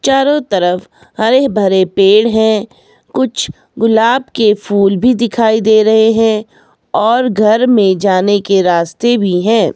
चारों तरफ हरे भरे पेड़ है कुछ गुलाब के फूल भी दिखाई दे रहे हैं और घर में जाने के रास्ते भी हैं।